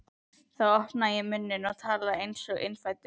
Þá opnaði ég munninn og talaði einsog innfæddur